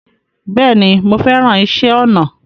Bẹ́ẹ̀ni, mo fẹ́ràn iṣẹ́ ọnà